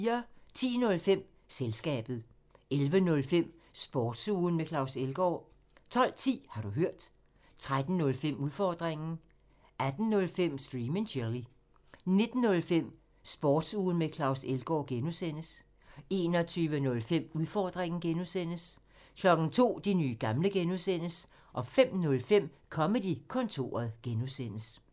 10:05: Selskabet 11:05: Sportsugen med Claus Elgaard 12:10: Har du hørt? 13:05: Udfordringen 18:05: Stream and chill 19:05: Sportsugen med Claus Elgaard (G) 21:05: Udfordringen (G) 02:00: De nye gamle (G) 05:05: Comedy-kontoret (G)